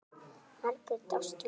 Margrét Ástrún.